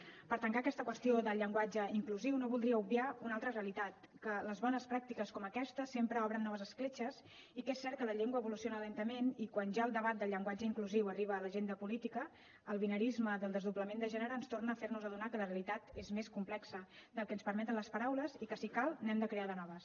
per tancar aquesta qüestió del llenguatge inclusiu no voldria obviar una altra realitat que les bones pràctiques com aquesta sempre obren noves escletxes i que és cert que la llengua evoluciona lentament i quan ja el debat del llenguatge inclusiu arriba a l’agenda política el binarisme del desdoblament de gènere ens torna a fernos adonar que la realitat és més complexa del que ens permeten les paraules i que si cal n’hem de crear de noves